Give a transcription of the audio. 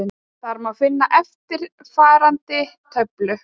Þar má finna eftirfarandi töflu: